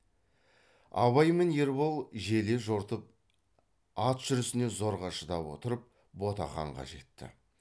абай мен ербол желе жортып ат жүрісіне зорға шыдап отырып ботақанға жетті